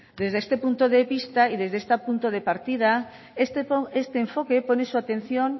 desde este punto de vista y desde este punto de partida este enfoque pone su atención